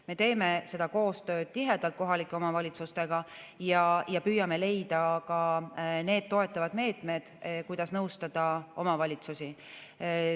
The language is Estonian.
Me teeme tihedat koostööd kohalike omavalitsustega ja püüame leida toetavad meetmed, kuidas nõustada omavalitsusi.